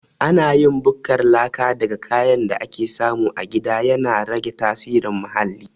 Ana yin bukkar laka daga kayan da ake samu a gida, yana rage tasirin muhalli.